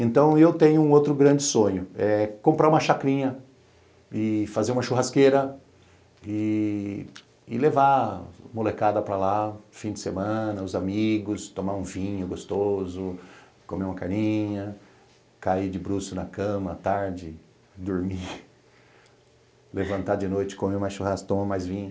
Então, eu tenho um outro grande sonho, é comprar uma chacrinha e fazer uma churrasqueira e levar a molecada para lá, fim de semana, os amigos, tomar um vinho gostoso, comer uma carninha, cair de bruços na cama, tarde, dormir, levantar de noite, comer uma churrasca, tomar mais vinho.